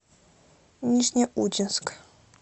нижнеудинск